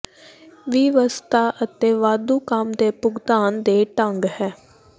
ਵਿਵਸਥਾ ਅਤੇ ਵਾਧੂ ਕੰਮ ਦੇ ਭੁਗਤਾਨ ਦੇ ਢੰਗ ਹੈ